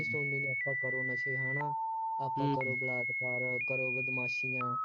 ਨਹੀਂ ਸੁਣਨੀ, ਆਪਾਂ ਕਰੋ ਨਸ਼ੇ ਹੈ ਨਾ, ਆਪਾਂ ਕਰੋ ਬਲਾਤਕਾਰ ਕਰੋ ਬਦਮਾਸ਼ੀਆਂ